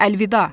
Əlvida.